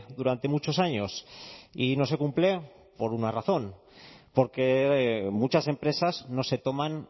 durante muchos años y no se cumple por una razón porque muchas empresas no se toman